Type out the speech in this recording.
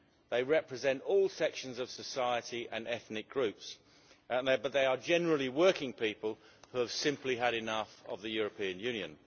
They represent all sections of society and ethnic groups, but they are generally working people who have simply had enough of the European Union.